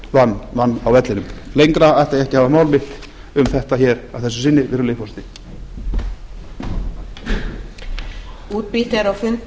það vann á vellinum lengra ætla ég ekki að hafa mál mitt um þetta hér að þessu sinni virðulegi forseti